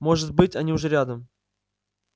может быть они уже рядом